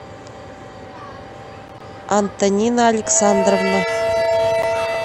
антонина александровна